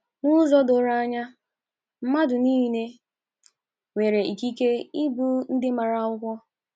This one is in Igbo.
N’ụzọ doro anya, mmadụ nile nwere ikike nke ịbụ ndị maara akwụkwọ.